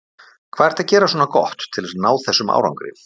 Hvað ertu að gera svona gott til að ná þessum árangri?